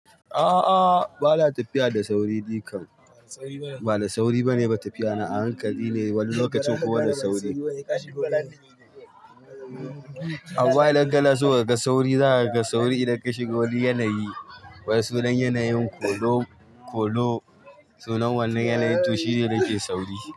A'a, ba na tafiya da sauri ni kan. Ba da sauri bane ba tafiyana a hankali ne wani lokacin kuwa da sauri. Amma idan kana so ka ga sauri, za ka ga sauri idan ka shiga wani yanayi. Wane sunan yanayin Kolo? Kolo sunan wannan yanayin to shine yake sauri.